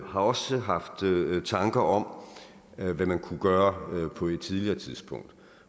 har også haft tanker om hvad man kunne gøre på et tidligere tidspunkt